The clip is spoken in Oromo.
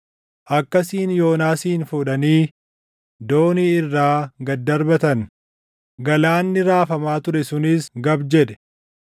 Akkasiin Yoonaasin fuudhanii doonii irraa gad darbatan; galaanni raafamaa ture sunis gab jedhe.